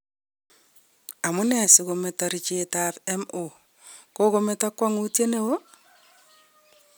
Amune si gometo richet ab MO kogometo kwogutiet neo?